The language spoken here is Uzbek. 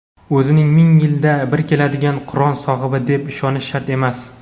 O‘zini ming yilda bir keladigan qiron sohibi deb ishonishi shart emas.